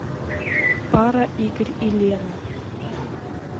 пара игорь и лена